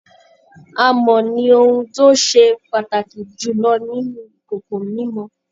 Amọ̀ ni ohun tó ṣe pàtàkì jùlọ ninú ìkòkò mímọ